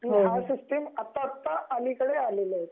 हे सिस्टम आता आता अलीकडे आले आहे